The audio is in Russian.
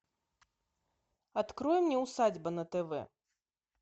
открой мне усадьба на тв